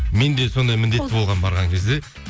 мен де сондай міндетті болғанмын барған кезде